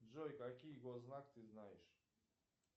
джой какие госзнак ты знаешь